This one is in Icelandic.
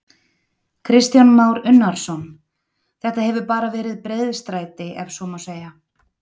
Kristján Már Unnarsson: Þetta hefur bara verið breiðstræti ef svo má segja?